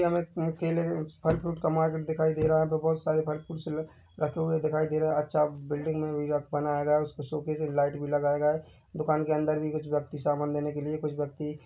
यहाँ हमे-मे केले कुछ फल फ्रूट का मार्केट दिखाई दे रहा है यहाँ पर बोहोत सारे फल फ्रूटस रखे हुए दिखाई दे रहा है अच्छा बिल्डिंग मे भी बनाया गया है उसके शोकैस लाइट भी लगाया गया है दुकान के अंदर भी कुछ व्यक्ति सामान देने के लिए कुछ व्यक्ति--